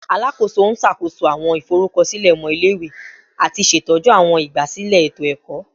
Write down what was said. Alakoso n ṣakoso awọn iforukọsilẹ ọmọ ile-iwe ati ṣetọju awọn igbasilẹ eto-ẹkọ